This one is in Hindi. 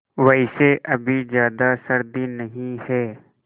वैसे अभी ज़्यादा सर्दी नहीं है